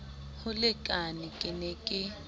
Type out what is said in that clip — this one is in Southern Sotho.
ho lekane ke ne ke